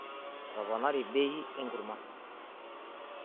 Etoponari bei enkurrma.